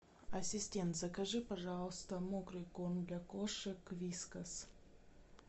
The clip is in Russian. ассистент закажи пожалуйста мокрый корм для кошек вискас